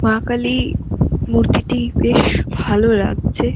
মা কালীর মূর্তিটি বেশ ভালো লাগছে ।